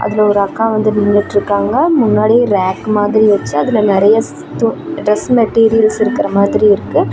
இதுல ஒரு அக்கா வந்து நின்னுட்டிருக்காங்க முன்னாடி ரேக் மாதிரி வச்சு அதுல நெறைய ஸ் து டிரெஸ் மெட்டீரியல்ஸ் இருக்கர மாதிரி இருக்கு.